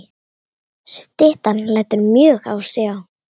Styttan lætur mjög á sjá.